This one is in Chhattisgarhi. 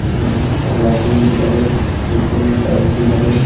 यहाँ बहुत सारा लाइटिंग भी लगे हे नीचे में टाइल्स भी लगे हे।